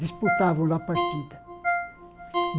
Disputavam lá a partida.